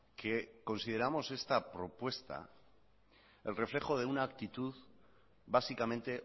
que consideramos esta propuesta el reflejo de una actitud básicamente